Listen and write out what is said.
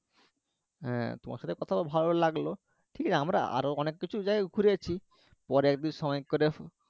হ্যাঁ তোমার সাথে কথা বলে ভালো লাগলো। ঠিক আছে আমরা আরো অনেক কিছু জায়গা ঘুরেছি, পরে একদিন সময় করে